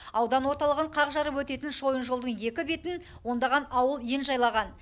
аудан орталығын қақ жарып өтетін шойын жолдың екі бетін ондаған ауыл ен жайлаған